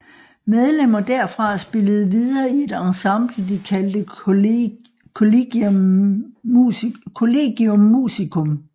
Medlemmer derfra spillede videre i et ensemble de kaldte Collegium musicum